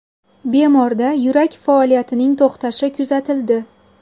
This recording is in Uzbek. Bemorda yurak faoliyatining to‘xtashi kuzatildi.